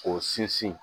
K'o sinsin